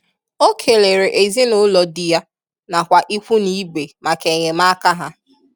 o kelere ezinaụlọ di ya nakwa ikwu na ibe maka enyemaka ha.